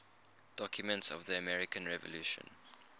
documents of the american revolution